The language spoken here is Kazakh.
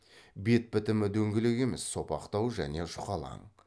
бет бітімі дөңгелек емес сопақтау және жұқалаң